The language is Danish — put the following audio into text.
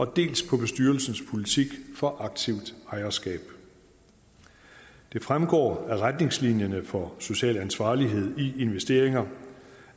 dels på bestyrelsens politik for aktivt ejerskab det fremgår af retningslinjerne for social ansvarlighed i investeringer